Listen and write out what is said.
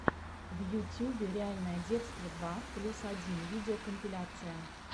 в ютюбе реальное детство два плюс один видеокомпиляция